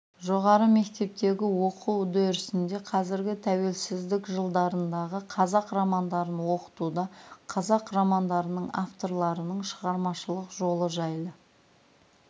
жоғары мектептегі оқу үдерісінде қазіргі тәуелсіздік жылдарындағы қазақ романдарын оқытуда қазақ романдарының авторларының шығармашылық жолы жайлы